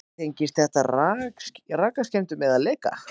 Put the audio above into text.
Tengist það rakaskemmdum eða leka?